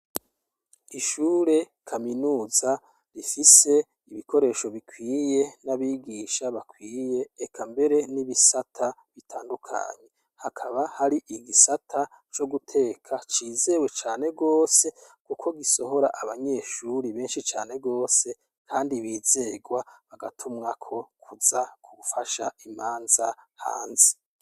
Ishure kaminuza rifise ibikoresho bikwiye nabigisha bakwiye Eka mbere nibisata bitandukanye Hakaba hari igisata co guteka cizewe cane rwose kuko gisohora abanyeshure benshi cane rwose baranazirwa bakaja gufasha imanza hanze.